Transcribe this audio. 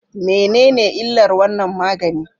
Menene illar wannan magani?